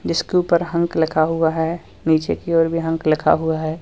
जिसके ऊपर हंक लिखा हुआ है नीचे की ओर भी हंक लिखा हुआ है।